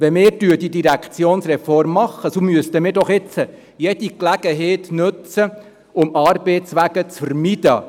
Wenn wir die Direktionsreform machen, so müssten wir doch jetzt jede Gelegenheit nutzen, um Arbeitswege zu vermeiden.